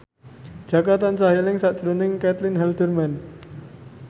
Jaka tansah eling sakjroning Caitlin Halderman